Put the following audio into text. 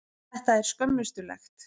Þetta er skömmustulegt.